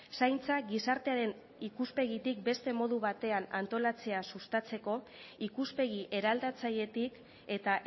zaintza gizartearen ikuspegitik beste modu batean antolatzea sustatzeko ikuspegi eraldatzailetik eta